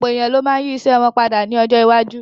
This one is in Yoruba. Ọ̀pọ̀ èèyàn ló ma yí ìṣe wọn padà ní ọjọ́ iwájú